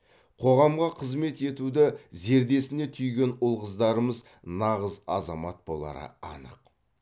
қоғамға қызмет етуді зердесіне түйген ұл қыздарымыз нағыз азамат болары анық